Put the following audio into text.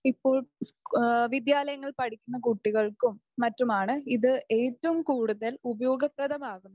ഇപ്പോൾ വിദ്യാലയങ്ങളിൽ പഠിക്കുന്ന കുട്ടികൾക്കും മറ്റുമാണ് ഇത് ഏറ്റവും കൂടുതൽ ഉപയോഗപ്രദമാകുന്നത്